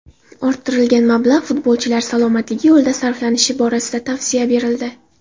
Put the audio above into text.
Orttirilgan mablag‘ futbolchilar salomatligi yo‘lida sarflanishi borasida tavsiya berildi.